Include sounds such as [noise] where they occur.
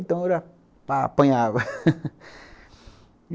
Então era [laughs]